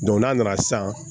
n'a nana san